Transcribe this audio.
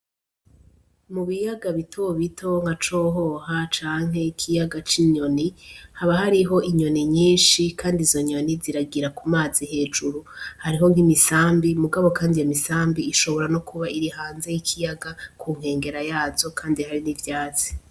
Mubiyaga bito bito nka cohoha canke ikiyaga c'inyoni haba hariho inyoni nyinshi ,kand 'izo nyoni ziragira ku mazi hejuru ,hariho nk'imisambi mugabo kandi iyo misambi nokuba iri hanze y'ikiyaga kunkengera yazo kandi hari n'ivyatsi.